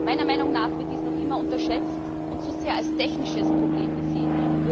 Meiner Meinung nach wird dies noch immer unterschätzt und zu sehr als technisches Problem gesehen.